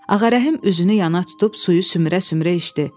Ağarəhm üzünü yana tutub suyu sümürə-sümürə içdi.